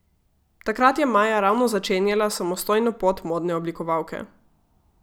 Takrat je Maja ravno začenjala samostojno pot modne oblikovalke.